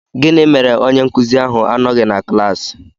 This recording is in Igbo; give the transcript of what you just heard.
Gịnị mere onye nkụzi ahụ anọghị na klaasị?